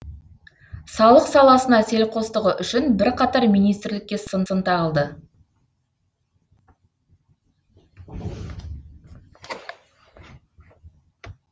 салық саласына селқостығы үшін бірқатар министрлікке сын тағылды